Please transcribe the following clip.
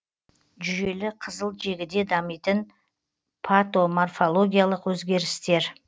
жүйелі қызыл жегіде дамитын патоморфологиялық өзгерістер